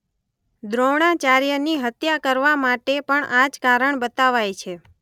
દ્રોણાચાર્યની હત્યા કરવામાટે પણ આજ કારણ બતાવાય છે.